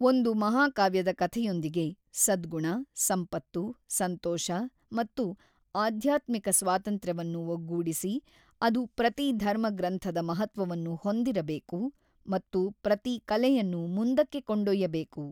ಒಂದು ಮಹಾಕಾವ್ಯದ ಕಥೆಯೊಂದಿಗೆ, ಸದ್ಗುಣ, ಸಂಪತ್ತು, ಸಂತೋಷ ಮತ್ತು ಆಧ್ಯಾತ್ಮಿಕ ಸ್ವಾತಂತ್ರ್ಯವನ್ನು ಒಗ್ಗೂಡಿಸಿ, ಅದು ಪ್ರತಿ ಧರ್ಮಗ್ರಂಥದ ಮಹತ್ವವನ್ನು ಹೊಂದಿರಬೇಕು ಮತ್ತು ಪ್ರತಿ ಕಲೆಯನ್ನು ಮುಂದಕ್ಕೆ ಕೊಂಡೊಯ್ಯಬೇಕು.